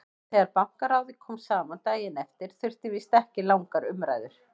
Þegar Bankaráðið kom saman daginn eftir þurfti víst ekki langar umræður.